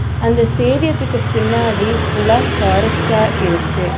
அந்த ஸ்டேடியத்துக்கு பின்னாடி ஃபுல்லா ஃபாரஸ்ட்டா இருக்கு.